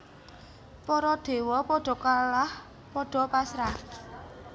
Para dewa padha kalah padha pasrah